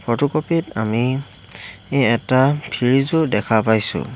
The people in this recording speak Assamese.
ফটোকপি ত আমি এটা ফ্ৰিজো দেখা পাইছোঁ।